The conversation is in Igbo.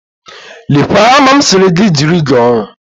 Lekwa hama m sịrị gị jiri gaa ọrụ